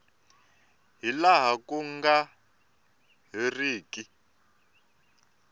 hi laha ku nga heriki